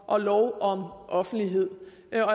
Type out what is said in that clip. og lov om offentlighed jeg